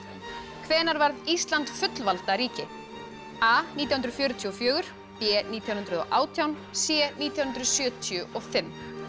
hvenær varð Ísland fullvalda ríki a nítján hundruð fjörutíu og fjögur b nítján hundruð og átján c nítján hundruð sjötíu og fimm